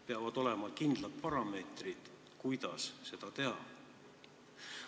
Peavad olema kindlad parameetrid, kuidas seda teha.